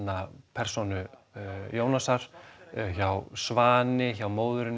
persónu Jónasar hjá Svani hjá móðurinni